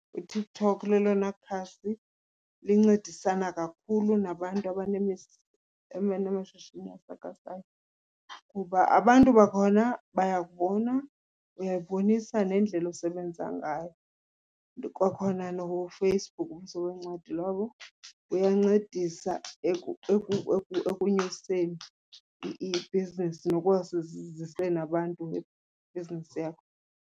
UTikTok lelona khasi lincedisana kakhulu nabantu abanamashishini asakhasayo kuba abantu bakhona bayakubona, uyayibonisa nendlela osebenza ngayo. Kwakhona noFacebook, ubuso bencwadi lobo, kuyancedisa ekunyuseni ibhizinesi, abantu ngebhizinesi yakho.